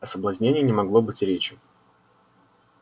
о соблазнении не могло быть и речи